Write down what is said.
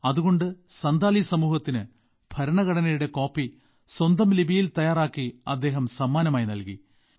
അതുകൊണ്ട് സന്താലി സമൂഹത്തിന് ഭരണഘടനയുടെ കോപ്പി സ്വന്തം ലിപിയിൽ തയ്യാറാക്കി അദ്ദേഹം സമ്മാനമായി നൽകി